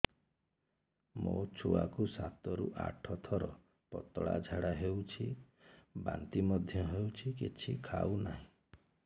ମୋ ଛୁଆ କୁ ସାତ ରୁ ଆଠ ଥର ପତଳା ଝାଡା ହେଉଛି ବାନ୍ତି ମଧ୍ୟ୍ୟ ହେଉଛି କିଛି ଖାଉ ନାହିଁ